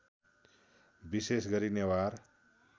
विशेष गरी नेवार